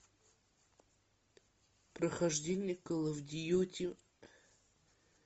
прохождение кол оф дьюти